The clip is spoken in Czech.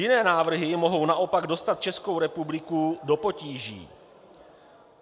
Jiné návrhy mohou naopak dostat Českou republiku do potíží.